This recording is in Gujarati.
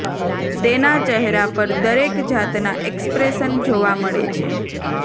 તેના ચહેરા પર દરેક જાતના એક્સપ્રેશન જોવા મળે છે